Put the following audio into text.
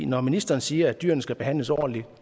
når ministeren siger at dyrene skal behandles ordentligt